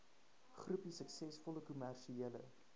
groepie suksesvolle kommersiële